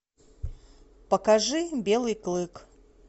покажи белый клык